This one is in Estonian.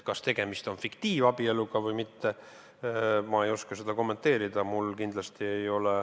Kas tegemist on fiktiivabieluga või mitte, seda ei oska ma kommenteerida.